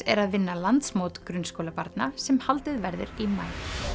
er að vinna landsmót grunnskólabarna sem haldið verður í maí